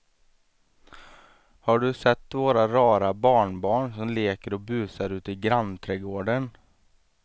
Har du sett våra rara barnbarn som leker och busar ute i grannträdgården!